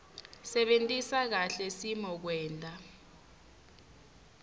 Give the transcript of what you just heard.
sebentisa kahle simokwenta